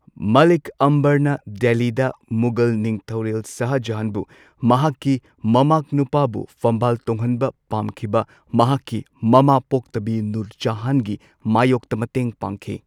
ꯃꯥꯂꯤꯛ ꯑꯝꯕꯔꯅ ꯗꯦꯜꯂꯤꯗ ꯃꯨꯘꯜ ꯅꯤꯡꯊꯧꯔꯦꯜ ꯁꯥꯍꯖꯍꯥꯟꯕꯨ ꯃꯍꯥꯛꯀꯤ ꯃꯃꯥꯛꯅꯨꯄꯥꯕꯨ ꯐꯝꯕꯥꯜ ꯇꯣꯡꯍꯟꯕ ꯄꯥꯝꯈꯤꯕ ꯃꯍꯥꯛꯀꯤ ꯃꯃꯥ ꯄꯣꯛꯇꯕꯤ ꯅꯨꯔꯖꯍꯥꯟꯒꯤ ꯃꯥꯌꯣꯛꯇ ꯃꯇꯦꯡ ꯄꯥꯡꯈꯤ꯫